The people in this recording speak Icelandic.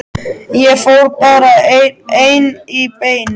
Ég fór bara ein í bæinn.